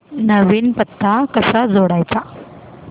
नवीन पत्ता कसा जोडायचा